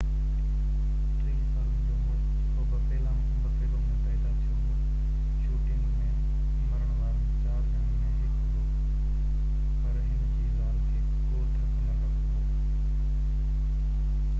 30 سالن جو مڙس جيڪو بفيلو ۾ پيدا ٿيو هو شوٽنگ ۾ مرڻ وارن 4 ڄڻن ۾ هڪ هو پر هن جي زال کي ڪو ڌڪ نہ لڳو هو